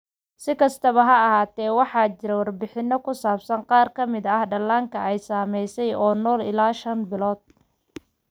Si kastaba ha ahaatee, waxaa jira warbixino ku saabsan qaar ka mid ah dhallaanka ay saameeyeen oo nool ilaa shan bilood.